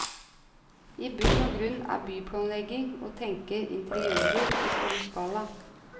I bunn og grunn er byplanlegging å tenke interiører i stor skala.